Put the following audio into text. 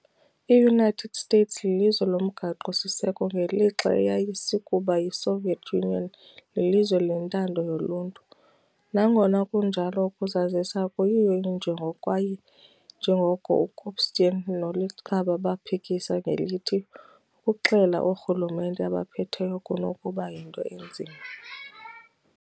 I-United States lilizwe lomgaqo-siseko, ngelixa eyayisakuba yiSoviet Union lilizwe lentando yoluntu. Nangona kunjalo ukuzazisa akuyiyo injongo, kwaye njengoko uKopstein noLichbach baphikisa ngelithi, ukuxela oorhulumente abaphetheyo kunokuba yinto enzima.